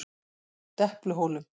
Depluhólum